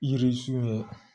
Yiri sun ye